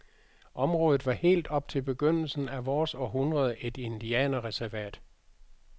Området var helt op til begyndelsen af vores århundrede et indianerreservat.